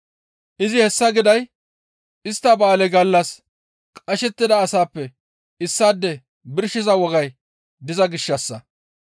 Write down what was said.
Izi hessa giday istta ba7aale gallas qashettida asappe issaade birshiza wogay diza gishshassa.